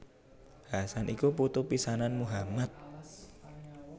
Hasan iku putu pisanan Muhammad